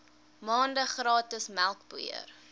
maande gratis melkpoeier